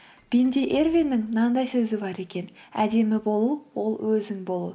бенди эрвинның мынандай сөзі бар екен әдемі болу ол өзің болу